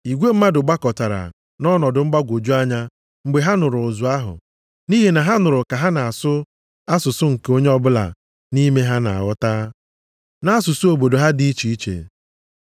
Igwe mmadụ gbakọtara nʼọnọdụ mgbagwoju anya mgbe ha nụrụ ụzụ ahụ, nʼihi na ha nụrụ ka ha na-asụ asụsụ nke onye ọbụla nʼime ha na-aghọta, nʼasụsụ obodo ha dị iche iche.